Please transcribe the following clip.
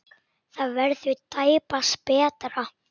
Það verður tæpast betra.